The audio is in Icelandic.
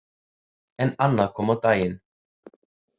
En annað kom á daginn.